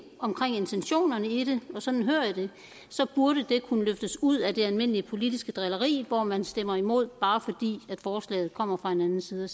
om intentionerne i det og sådan hører jeg det burde det kunne løftes ud af det almindelige politiske drilleri hvor man stemmer imod bare fordi forslaget kommer fra en anden side